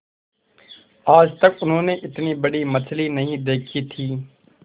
आज तक उन्होंने इतनी बड़ी मछली नहीं देखी थी